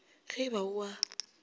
ge e ba o a